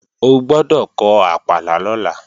O gbọ́dọ̀ kọ àpàlà lọ́la